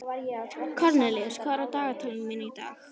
Kornelíus, hvað er á dagatalinu mínu í dag?